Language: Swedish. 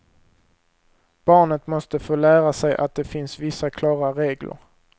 Barnet måste få lära sig att det finns vissa klara regler.